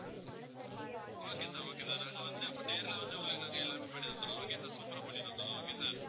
okay sir okay sir நாங்க வந்து அப்போ நேர்ல வந்து உங்களுக்கு நாங்க எல்லாமே பண்ணி தந்துடுறோம் okay sir super ஆ பண்ணி தந்துடுறோம் okay sir